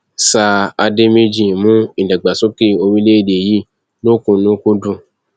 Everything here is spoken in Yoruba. sír àdèméjì mú ìdàgbàsókè orílẹèdè yìí lọkùnúnkúndùn